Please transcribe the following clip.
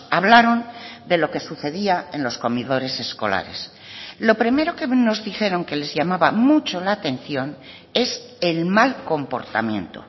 hablaron de lo que sucedía en los comedores escolares lo primero que nos dijeron que les llamaba mucho la atención es el mal comportamiento